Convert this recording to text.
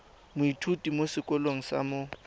moithuti mo sekolong sa mo